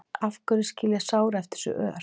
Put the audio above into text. Af hverju skilja sár eftir sig ör?